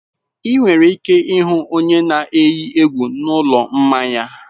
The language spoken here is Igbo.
Ị nwere ike ịhụ onye na-eyi egwu na ụlọ mmanya.